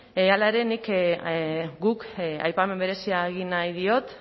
hala ere nik guk aipamen berezia egin nahi diot